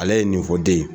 Ale ye nin fɔ den ye